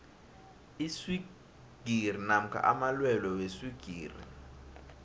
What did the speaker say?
iswigiri namkha amalwelwe weswigiri